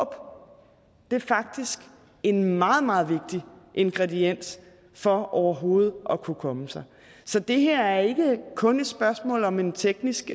er faktisk en meget meget vigtig ingrediens for overhovedet at kunne komme sig så det her er ikke kun et spørgsmål om en teknisk